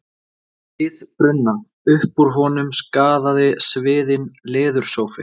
ið brunna, upp úr honum skagaði sviðinn leðursófi.